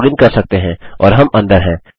हम लॉगिन कर सकते हैं और हम अंदर हैं